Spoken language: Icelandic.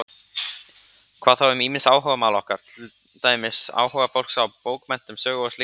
Hvað þá um ýmis áhugamál okkar, til dæmis áhuga fólks á bókmenntum, sögu og slíku?